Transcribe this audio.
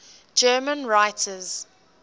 german writers